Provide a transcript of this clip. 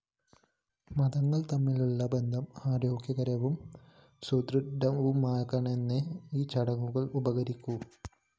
മതങ്ങള്‍ തമ്മിലുള്ള ബന്ധം ആരോഗ്യകരവും സുദൃഢവുമാക്കാനേ ഈ ചടങ്ങുകള്‍ ഉപകരിക്കൂ